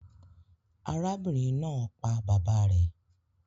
Arábìnrin naa pa bàbá rè